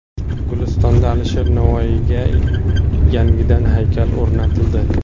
Gulistonda Alisher Navoiyga yangidan haykal o‘rnatildi.